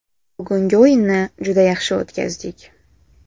Bugungi o‘yinni juda yaxshi o‘tkazdik.